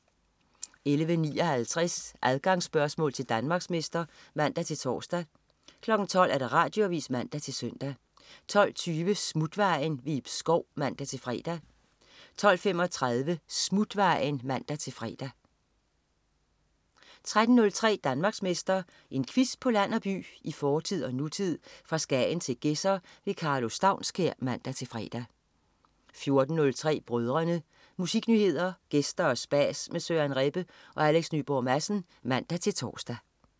11.59 Adgangsspørgsmål til Danmarksmester (man-tors) 12.00 Radioavis (man-søn) 12.20 Smutvejen. Ib Schou (man-fre) 12.35 Smutvejen (man-fre) 13.03 Danmarksmester. En quiz på land og by, i fortid og nutid, fra Skagen til Gedser. Karlo Staunskær (man-fre) 14.03 Brødrene. Musiknyheder, gæster og spas med Søren Rebbe og Alex Nyborg Madsen (man-tors)